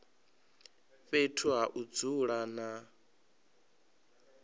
fhethu ha u dzula na